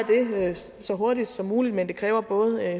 det så hurtigt som muligt men det kræver både